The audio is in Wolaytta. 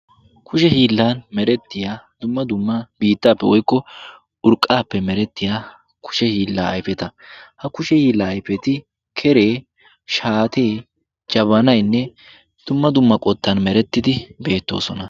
kushe hiillaan merettiyaa dumma dumma biittaappe woykko urqqaappe merettiyaa kushe hillaa ayfeta. ha kushe hiillaa ayfeti shaatee kereenne jabanaynne dumma dumma qottaan merettidi beettoosona.